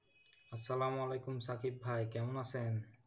আসালাম ওয়ালিকুম সাকিব ভাই কেমন আছেন?